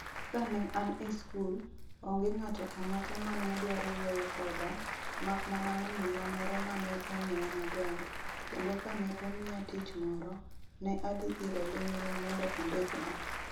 Kane an e skul, onge ng'ato ang'ata ma ne dwaro wuoyo koda, mak mana nyaminwa moro ma ne ong'eya maber, kendo kane omiya tich moro, ne adhi ire ling'ling' mondo ondikna.